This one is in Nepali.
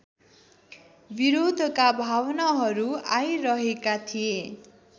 विरोधका भावनाहरू आइरहेका थिए